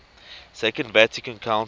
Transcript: second vatican council